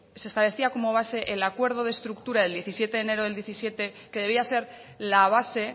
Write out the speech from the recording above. se establecía como base el acuerdo de estructura del diecisiete de enero del diecisiete que debía ser la base